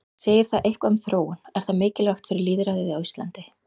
Segir það eitthvað um þróun, er það mikilvægt fyrir lýðræðið á Íslandi?